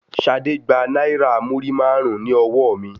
Ṣadé gba náírà múrímàrún ní ọwọ mi.